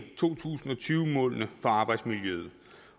to tusind og tyve målene for arbejdsmiljøet